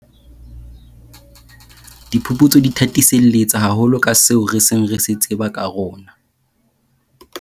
Diphuputso di thathiselletsa haholo ka seo re seng re se tseba ka rona.